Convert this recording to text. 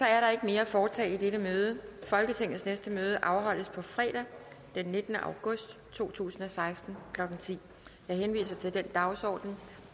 er ikke mere at foretage i dette møde folketingets næste møde afholdes fredag den nittende august to tusind og seksten klokken ti jeg henviser til den dagsorden